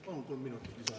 Palun kolm minutit lisaaega.